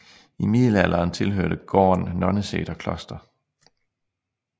I middelalderen tilhørte gården Nonneseter kloster